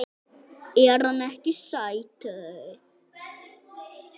Er hann ekki sætur?